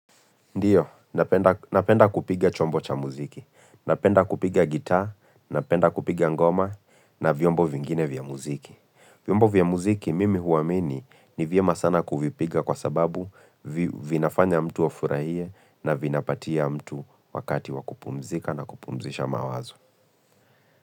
Ndiyo, napenda kupiga chombo cha muziki, napenda kupiga gita, napenda kupiga ngoma na vyombo vingine vya muziki. Vyombo vya muziki mimi huwamini ni vyema sana kuvipiga kwa sababu vinafanya mtu wa afurahie na vinapatia mtu wakati wakupumzika na kupumzisha mawazo.